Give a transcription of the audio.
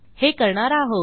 हे करणार आहोत